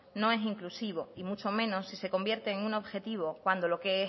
no es inclusivo y mucho menos si se convierte en un objetivo cuando lo que